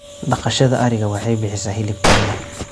Dhaqashada ariga waxay bixisaa hilib tayo leh.